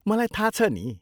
मलाई थाहा छ नि!